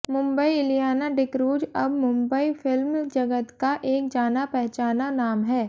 मुंबईः इलियाना डीक्रूज अब मुंबई फिल्म जगत का एक जाना पहचाना नाम है